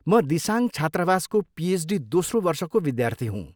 म दिसाङ छात्रावासको पिएचडी दोस्रो वर्षको विद्यार्थी हुँ।